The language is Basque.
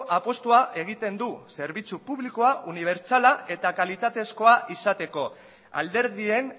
apustua egiten du zerbitzu publikoa unibertsala eta kalitatezkoa izateko alderdien